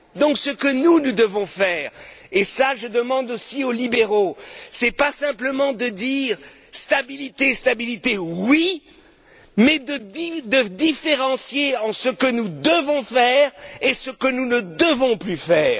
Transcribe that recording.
Ainsi, ce que nous devons faire, et je le demande aussi aux libéraux, ce n'est pas simplement de dire stabilité, stabilité, mais de différencier aussi ce que nous devons faire et ce que nous ne devons plus faire